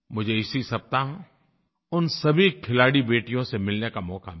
मुझे इसी सप्ताह उन सभी खिलाड़ी बेटियों से मिलने का मौक़ा मिला